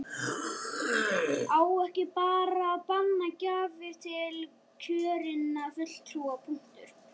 Á ekki bara að banna gjafir til kjörinna fulltrúa, punktur?